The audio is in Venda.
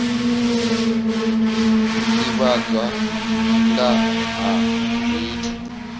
u divhadza nga ha zwithu